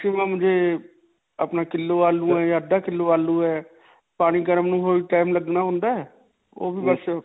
maximum ਜੇ, ਆਪਣਾ kilo ਆਲੂ ਹੈ ਜਾਂ ਅਧ੍ਧਾ ਕਿੱਲੋ ਆਲੂ ਹੈ ਪਾਣੀ ਗਰਮ ਨੂੰ ਨੂੰ time ਲਗਨਾ ਹੁੰਦਾ ਹੈ.ਉਹ ਬਸ